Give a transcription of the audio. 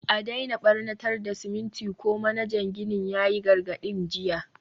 a daina barnatar da siminti ko, manajan ginin ya yi gargadin jiya.